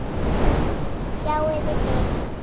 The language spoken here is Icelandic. Sjáiði til!